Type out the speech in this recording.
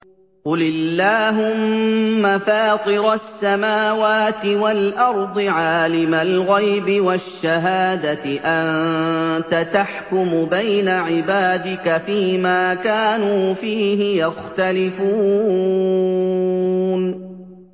قُلِ اللَّهُمَّ فَاطِرَ السَّمَاوَاتِ وَالْأَرْضِ عَالِمَ الْغَيْبِ وَالشَّهَادَةِ أَنتَ تَحْكُمُ بَيْنَ عِبَادِكَ فِي مَا كَانُوا فِيهِ يَخْتَلِفُونَ